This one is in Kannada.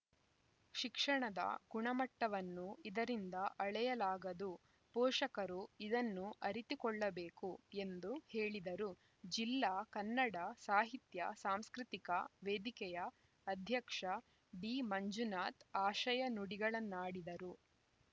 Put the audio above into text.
ಶಿಕ್ಷಣದ ಗುಣಮಟ್ಟವನ್ನು ಇದರಿಂದ ಅಳೆಯಲಾಗದು ಪೋಷಕರು ಇದನ್ನು ಅರಿತುಕೊಳ್ಳಬೇಕು ಎಂದು ಹೇಳಿದರು ಜಿಲ್ಲಾ ಕನ್ನಡ ಸಾಹಿತ್ಯ ಸಾಂಸ್ಕೃತಿಕ ವೇದಿಕೆಯ ಅಧ್ಯಕ್ಷ ಡಿಮಂಜುನಾಥ್‌ ಆಶಯ ನುಡಿಗಳನ್ನಾಡಿದರು